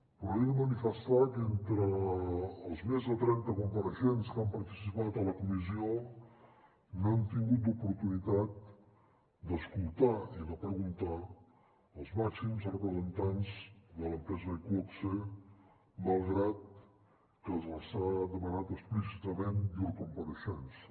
però he de manifestar que entre els més de trenta compareixents que han participat a la comissió no hem tingut l’oportunitat d’escoltar i de preguntar als màxims representants de l’empresa iqoxe malgrat que s’ha demanat explícitament llur compareixença